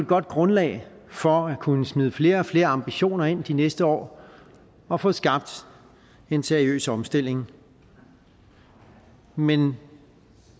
godt grundlag for at kunne smide flere og flere ambitioner ind de næste år og få skabt en seriøs omstilling men